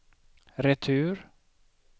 retur